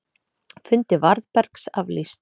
Fundi Varðbergs aflýst